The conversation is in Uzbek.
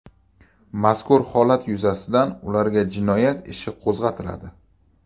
Mazkur holat yuzasidan ularga jinoyat ishi qo‘zg‘atiladi.